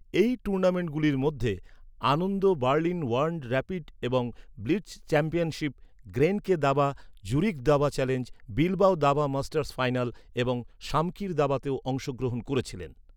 এই টুর্নামেন্টগুলির মধ্যে, আনন্দ বার্লিন ওয়ার্ল্ড র‍্যাপিড এবং ব্লিটজ চ্যাম্পিয়নশিপ, গ্রেনকে দাবা, জুরিখ দাবা চ্যালেঞ্জ, বিলবাও দাবা মাস্টার্স ফাইনাল এবং শামকির দাবাতেও অংশগ্রহণ করেছিলেন।